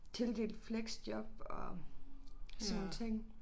Tildelt fleksjob og sådan nogle ting